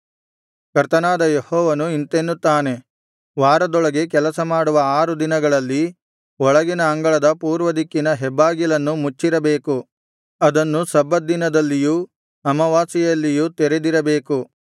ಕರ್ತನಾದ ಯೆಹೋವನು ಇಂತೆನ್ನುತ್ತಾನೆ ವಾರದೊಳಗೆ ಕೆಲಸ ಮಾಡುವ ಆರು ದಿನಗಳಲ್ಲಿ ಒಳಗಿನ ಅಂಗಳದ ಪೂರ್ವದಿಕ್ಕಿನ ಹೆಬ್ಬಾಗಿಲನ್ನು ಮುಚ್ಚಿರಬೇಕು ಅದನ್ನು ಸಬ್ಬತ್ ದಿನದಲ್ಲಿಯೂ ಅಮಾವಾಸ್ಯೆಯಲ್ಲಿಯೂ ತೆರೆದಿರಬೇಕು